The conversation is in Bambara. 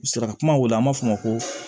U sera ka kuma wele an b'a fɔ ma ko